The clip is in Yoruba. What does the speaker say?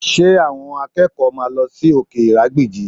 Ṣé àwọn akẹ́kọ̀ọ́ máa lọ sí òkè ìrágbìjí?